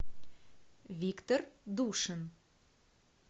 виктор душин